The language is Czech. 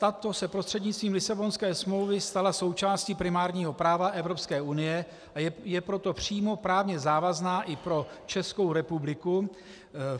Ta se prostřednictvím Lisabonské smlouvy stala součástí primárního práva Evropské unie, a je proto přímo právně závazná i pro Českou republiku.